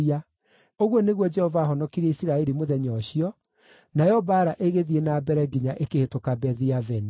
Ũguo nĩguo Jehova aahonokirie Isiraeli mũthenya ũcio, nayo mbaara ĩgĩthiĩ na mbere nginya ĩkĩhĩtũka Bethi-Aveni.